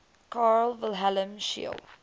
carl wilhelm scheele